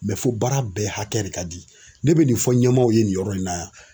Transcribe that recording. fo baara bɛɛ hakɛ de ka di ne bɛ nin fɔ ɲɛmaw ye nin yɔrɔ in na yan.